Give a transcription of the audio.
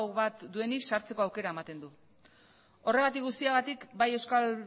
bat duenik sartzeko aukera ematen du horregatik guztiagatik bai euskal